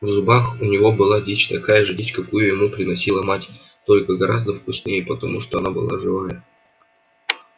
в зубах у него была дичь такая же дичь какую ему приносила мать только гораздо вкуснее потому что она была живая